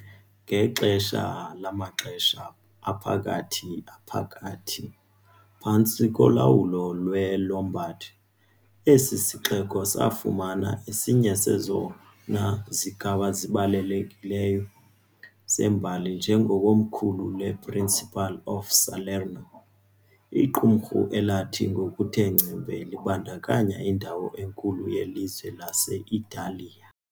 Ngexesha lamaXesha aPhakathi aPhakathi, phantsi kolawulo lweLombard, esi sixeko safumana esinye sezona zigaba zibalulekileyo zembali njengekomkhulu lePrincipal of Salerno, iqumrhu elathi ngokuthe ngcembe libandakanya indawo enkulu yelizwe lase-Italiya.